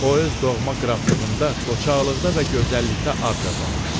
O öz doğma qraflığında qocaqlıqda və gözəllikdə ad qazanmışdı.